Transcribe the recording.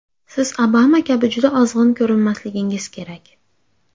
Siz Obama kabi juda ozg‘in ko‘rinmasligingiz kerak.